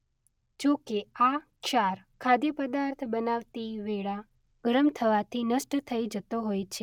જો કે આ ક્ષાર ખાદ્ય પદાર્થ બનાવતી વેળા ગરમ થવાથી નષ્ટ થઇ જતો હોય છે.